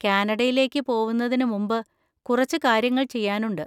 കാനഡയിലേക്ക് പോവുന്നതിന് മുമ്പ് കുറച്ച് കാര്യങ്ങൾ ചെയ്യാനുണ്ട്.